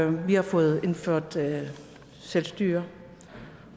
vi har fået indført selvstyre